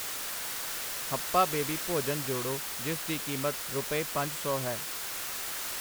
ਹੱਪਾ baby ਭੋਜਨ ਜੋੜੋ ਜਿਸ ਦੀ ਕੀਮਤ ਰੁਪਏ ਪੰਜ ਸੌ ਹੈ I